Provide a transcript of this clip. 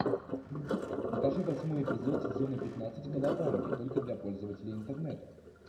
покажи восьмой эпизод сезона пятнадцать колобанги только для пользователей интернета